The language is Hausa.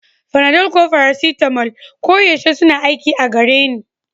Panadol ko paracetamol koyaushe suna aiki a gare ni